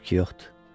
hayf ki yoxdur.